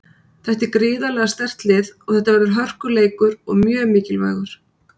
Þetta er gríðarlega sterkt lið og þetta verður hörkuleikur og mjög mikilvægur.